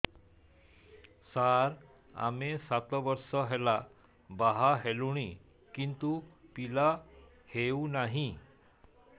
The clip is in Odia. ସାର ଆମେ ସାତ ବର୍ଷ ହେଲା ବାହା ହେଲୁଣି କିନ୍ତୁ ପିଲା ହେଉନାହିଁ